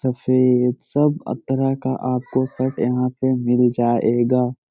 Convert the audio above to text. सफेद सब अब तरह का आपको शर्ट यहाँ पे मिल जाएगा।